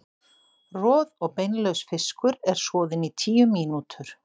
Roð- og beinlaus fiskur er soðinn í tíu mínútur.